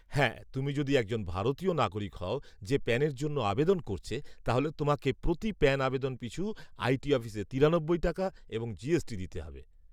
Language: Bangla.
হ্যাঁ, তুমি যদি একজন ভারতীয় নাগরিক হও যে প্যানের জন্য আবেদন করছে, তাহলে তোমাকে প্রতি প্যান আবেদন পিছু আই টি অফিসে তিরানব্বই টাকা এবং জিএসটি দিতে হবে।